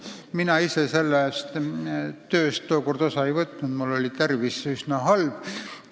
Mina ise kriminaalmenetluse seadustiku tööst tookord osa ei võtnud, sest mul oli tervis üsna halb.